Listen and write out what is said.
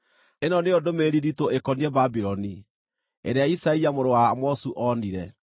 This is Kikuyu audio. Ĩno nĩyo ndũmĩrĩri nditũ ĩkoniĩ Babuloni, ĩrĩa Isaia mũrũ wa Amozu onire: